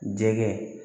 Jɛgɛ